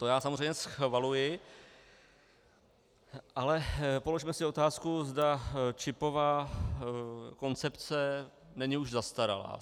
To já samozřejmě schvaluji, ale položme si otázku, zda čipová koncepce není už zastaralá.